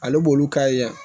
Ale b'olu ka ya